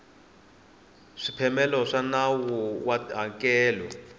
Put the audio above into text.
swipimelo swa nawu wa tihakelo